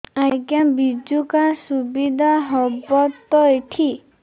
ଆଜ୍ଞା ବିଜୁ କାର୍ଡ ସୁବିଧା ହବ ତ ଏଠି